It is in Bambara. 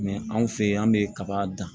anw fɛ yan an bɛ kaba dan